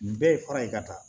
Nin bɛɛ ye fara ye ka taa